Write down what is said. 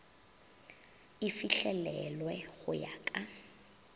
e fihlelelwe go ya ka